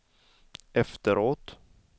efteråt